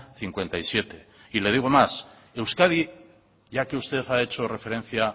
cincuenta y siete y le digo más euskadi ya que usted ha hecho referencia